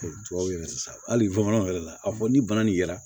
Tubabu yɛrɛ sisan hali bamananw yɛrɛ la a fɔ ni bana nin yera